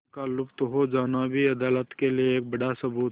उनका लुप्त हो जाना भी अदालत के लिए एक बड़ा सबूत है